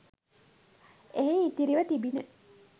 එහි ඉතිරිව තිබිණි.